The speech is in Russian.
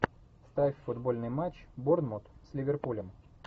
ставь футбольный матч борнмут с ливерпулем